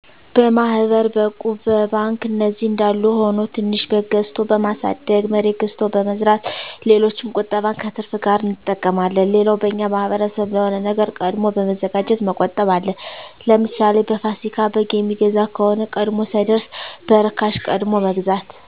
በማሕበር፣ በእቁብ፣ በባንክ እነዚህ አንዳሉ ሁኖ ትንሽ በግ ገዝቶ በማሣደግ፣ መሬት ገዝቶ በመዝራት ሌሎችም ቁጠባን ከትርፍ ጋር አንጠቀማለን። ሌላው በእኛ ማሕበረሰብ ለሆነ ነገር ቀድሞ በመዘጋጀት መቆጠብ አለ። ለምሣሌ፦ በፋሲካ በግ የሚገዛ ከሆነ ቀድሞ ሳይደርስ በእርካሽ ቀድሞ መግዛት።